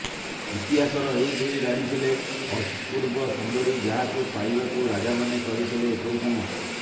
ଇତିହାସର ଏହି ଦୁଇ ରାଣୀ ଥିଲେ ଅପୂର୍ବ ସୁନ୍ଦରୀ ଯାହାଙ୍କୁ ପାଇବାକୁ ରାଜାମାନେ କରିଥିଲେ ଏପରି କାମ